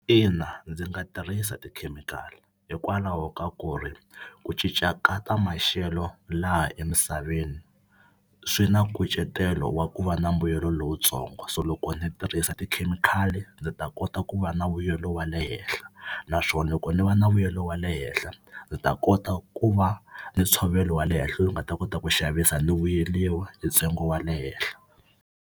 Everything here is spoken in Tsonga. Ina ndzi nga tirhisa tikhemikhali hikwalaho ka ku ri ku cinca ka ta maxelo laha emisaveni swi na nkucetelo wa ku va na mbuyelo lowutsongo so loko ni tirhisa ti khemikhali ndzi ta kota ku va na vuyelo wa le henhla naswona loko ni va na vuyelo wa le henhla ndzi ta kota ku va na ntshovelo wa le henhla ni nga ta kota ku xavisa ni vuyeriwa hi ntsengo wa le henhla.